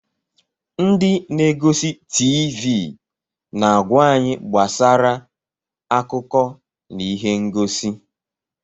Ndị na-egosi TiiVi na-agwa anyị gbasara akụkọ na ihe ngosi.